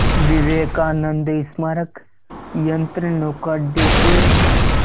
विवेकानंद स्मारक यंत्रनौका अड्डे से